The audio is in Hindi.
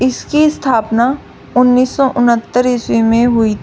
इसकी स्थापना उनिस सौ उनहत्तर ईस्वी में हुई।